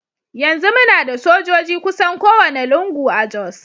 Yanzu muna da sojoji kusan kowane lungu a Jos.